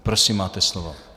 Prosím, máte slovo.